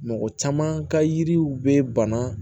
Mɔgɔ caman ka yiriw bɛ bana